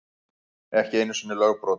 Ekki einu sinni lögbrot.